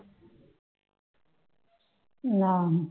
ਆਹੋ